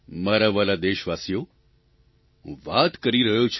મારા વ્હાલા દેશવાસીઓ હું વાત કરી રહ્યો છું